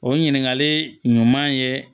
O ɲininkali ɲuman ye